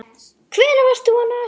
Hvenær varst þú á NASA?